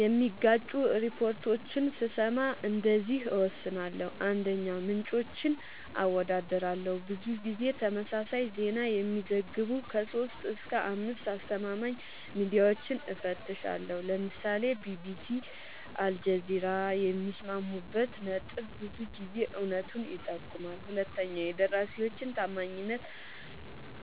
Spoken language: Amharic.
የሚጋጩ ሪፖርቶችን ስሰማ እንደዚህ እወስናለሁ :- 1, ምንጮችን አወዳድራለሁ :-ብዙ ጊዜ ተመሳሳይ ዜና የሚዘግቡ 3-5አስተማማኝ ሚድያወችን እፈትሻለሁ ( ለምሳሌ ቢቢሲ አልጀዚራ )የሚስማሙበት ነጥብ ብዙ ጊዜ እውነቱን ይጠቁማል 2 የደራሲወችን ታማኝነት